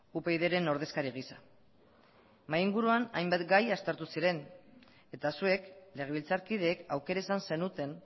upydren ordezkari gisa mahai inguruan hainbat gai aztertu ziren eta zuek legebiltzarkideek aukera izan zenuten